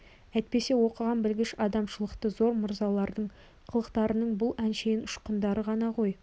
әйтпесе оқыған білгіш адамшылықтары зор мырзалардың қылықтарының бұл әншейін ұшқындары ғана ғой